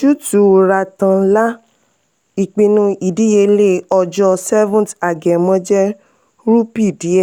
ojútùú ratan lal: ìpinnu ìdíyelé ọjọ seventh agẹmọ jẹ rúpì diẹ.